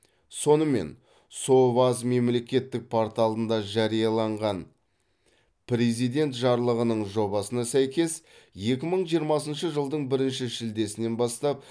сонымен соваз мемлекеттік порталында жарияланған президент жарлығының жобасына сәйкес екі мың жиырмасыншы жылдың бірінші шілдесінен бастап